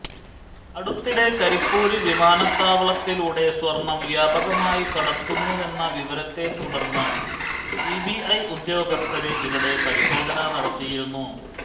അടുത്തിടെ കരിപ്പൂര് വിമാനത്താവളത്തിലൂടെ സ്വര്ണം വ്യാപകമായി കടത്തുന്നുവെന്ന വിവരത്തെ തുടര്ന്ന് സിബിഐ ഉദ്യോഗസ്ഥര് ഇവിടെ പരിശോധന നടത്തിയിരുന്നു